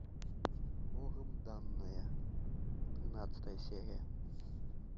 богом данная тринадцатая серия